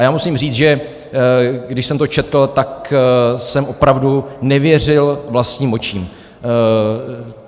A já musím říct, že když jsem to četl, tak jsem opravdu nevěřil vlastním očím.